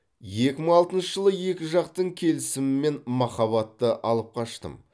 екі мың алтыншы жылы екі жақтың келісімімен махабатты алып қаштым